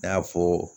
N y'a fɔ